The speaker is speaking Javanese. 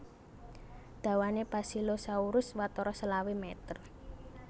Dawané Basilosaurus watara selawe meter